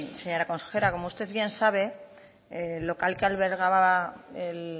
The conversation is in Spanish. señora consejera como usted bien sabe el local que albergaba el